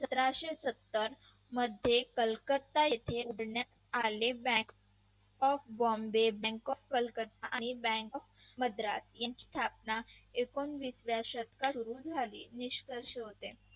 सतराशे सत्तर मध्ये कलकत्ता येथे उघडण्यात आलेल्या bank bank of बॉम्बे आणि bank of कलकत्ता आणी bank of मद्रास यांची स्थापना एकोणविस व्या शतकात सुरू झाली निष्कर्ष होते